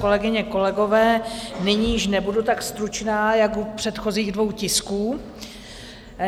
Kolegyně, kolegové, nyní již nebudu tak stručná jako u předchozích dvou tisků.